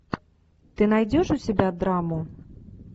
ты найдешь у себя драму